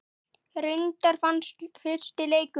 Reyndar vannst fyrsti leikur.